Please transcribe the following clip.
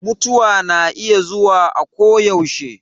Mutuwa na iya zuwa akoyaushe.